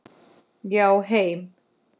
Já, heim.